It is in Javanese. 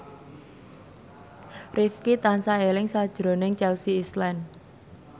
Rifqi tansah eling sakjroning Chelsea Islan